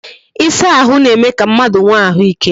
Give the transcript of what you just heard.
Ịsa ahụ na-eme ka mmadụ nwe ahụike